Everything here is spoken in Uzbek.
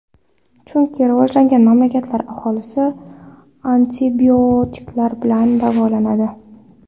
Chunki rivojlangan mamlakatlar aholisi antibiotiklar bilan davolanadi.